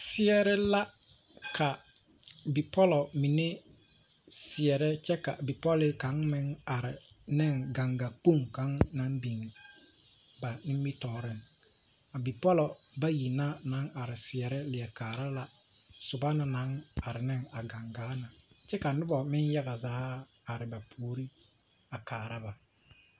seɛree la ka bipɔlo mine seɛre.ka bipɔlekaŋa meŋ are neŋ ganga kpoŋi kaŋa biŋ ba nimitɔɔreŋ, a bipɔlo bayi na are seɛre leɛ kaara la soba na naŋ are neŋ a gangaa na kyɛ ka noba meŋ yaga zaa are ba puoriŋ a kaara ba